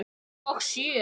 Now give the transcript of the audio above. Og sjö?